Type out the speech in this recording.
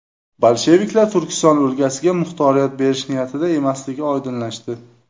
Bolsheviklar Turkiston o‘lkasiga muxtoriyat berish niyatida emasligi oydinlashdi.